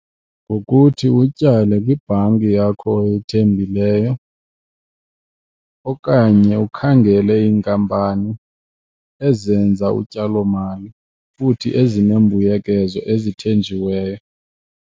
Ngokuthi utyale kwibhanki yakho oyithembileyo okanye ukhangele iinkampani ezenza utyalomali futhi ezinembuyekezo ezithenjiweyo.